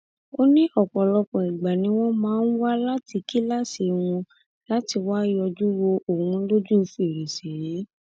ó ní ọpọlọpọ ìgbà ni wọn máa ń wá láti kíláàsì wọn láti wáá yọjú wo òun lójú fèrèsé